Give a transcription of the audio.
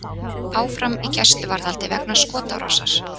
Áfram í gæsluvarðhaldi vegna skotárásar